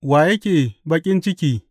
Wa yake baƙin ciki?